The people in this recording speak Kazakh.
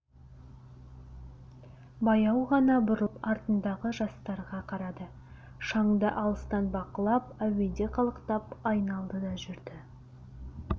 баяу ғана бұрылып артындағы жастарға қарады шаңды алыстан бақылап әуеде қалықтап айналды да жүрді